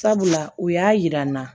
Sabula u y'a yira n na